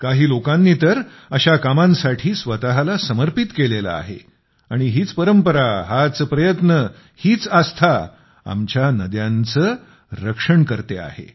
काही लोकांनी तर अशा कामांसाठी स्वतःला समर्पित केलेले आहे आणि हीच परंपरा हाच प्रयत्न हीच आस्था आमच्या नद्यांचे रक्षण करते आहे